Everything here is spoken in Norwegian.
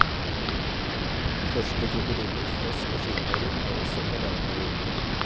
De første krokodiller, frosk og skilpadder er også fra denne perioden.